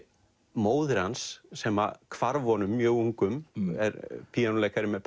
móðir hans sem hvarf honum mjög ungum er píanóleikari með